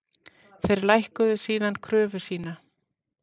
Þeir lækkuðu síðar kröfu sína